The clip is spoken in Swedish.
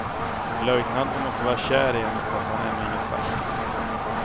Löjtnanten måste vara kär i henne, fast han ännu inget sagt.